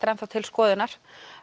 er enn þá til skoðunar